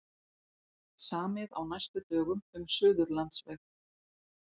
Samið á næstu dögum um Suðurlandsveg